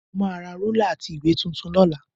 Mo máa ra rúlà àti ìwé tuntun lọ́la